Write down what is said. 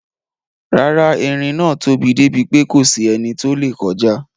Rárá, eerin náà tóbi débi pé kòsí ẹni tó lè kọjá.